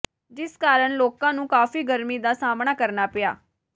ਜਿਸ ਕਾਰਨ ਲੋਕਾਂ ਨੂੰ ਕਾਫੀ ਗਰਮੀ ਦਾ ਸਾਹਮਣਾ ਕਰਨਾ ਪਿਆ